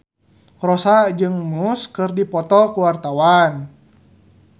Rossa jeung Muse keur dipoto ku wartawan